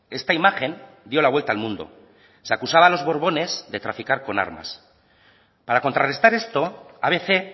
esta imagen dio la vuelta al mundo se acusaba a los borbones de traficar con armas para contrarrestar esto abc